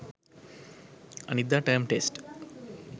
අනිද්දා term test